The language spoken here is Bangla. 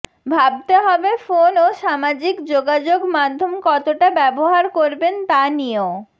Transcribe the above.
ভাবতে হবে ফোন ও সামাজিক যোগাযোগ মাধ্যম কতটা ব্যবহার করবেন তা নিয়েও